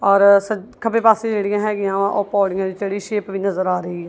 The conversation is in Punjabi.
ਔਰ ਸੱਜ ਖੱਬੇ ਪਾਸੇ ਜਿਹੜੀਆਂ ਹੈਗੀਆਂ ਉਹ ਪੌੜੀਆਂ ਚੜੀ ਸ਼ੇਪ ਵੀ ਨਜ਼ਰ ਆ ਰਹੀ--